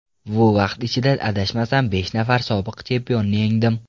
Bu vaqt ichida, adashmasam, besh nafar sobiq chempionni yengdim.